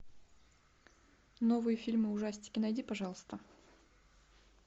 новые фильмы ужастики найди пожалуйста